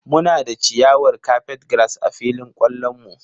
Muna da ciyawar Carpetgrass a filin kwallon mu.